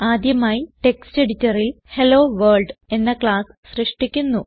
ആദ്യമായി ടെക്സ്റ്റ് എഡിറ്ററിൽ ഹെല്ലോവർൾഡ് എന്ന ക്ലാസ് സൃഷ്ടിക്കുന്നു